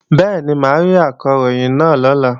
Bẹ́ẹ̀ni, mà á rí Akọ̀ròyìn náà lọ́la